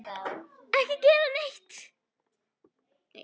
Ekki gera neitt.